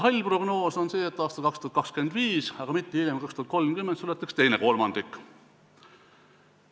Hall prognoos on see, et aastal 2025, aga mitte hiljem kui 2030 suletakse teine kolmandik.